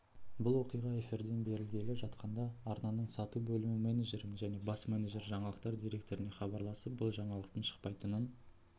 бұл оқиға эфирден берілгелі жатқанда арнаның сату бөлімі менеджері және бас менеджер жаңалықтар директорына хабарласып бұл жаңалықтың шықпайтынын